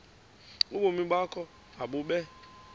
ubomi bakho mabube